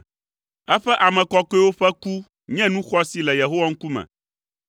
Eƒe ame kɔkɔewo ƒe ku nye nu xɔasi le Yehowa ŋkume.